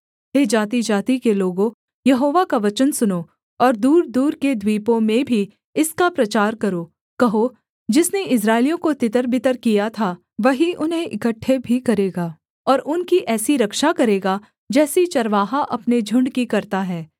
हे जातिजाति के लोगों यहोवा का वचन सुनो और दूरदूर के द्वीपों में भी इसका प्रचार करो कहो जिसने इस्राएलियों को तितर बितर किया था वही उन्हें इकट्ठे भी करेगा और उनकी ऐसी रक्षा करेगा जैसी चरवाहा अपने झुण्ड की करता है